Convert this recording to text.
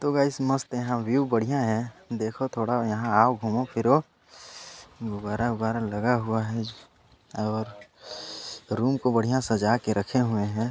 तो गाइस मस्त है यहाँ व्यू बढ़िया है देखो थोड़ा यहाँ आओ घूमो फिरो गुब्बारा वुब्बारा लगा हुआ है और रूम को बढ़िया सजा के रखे हुए है।